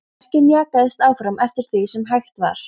Verkið mjakaðist áfram eftir því sem hægt var.